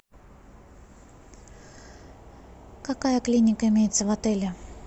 какая клиника имеется в отеле